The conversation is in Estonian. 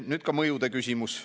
Nüüd ka mõjude küsimus.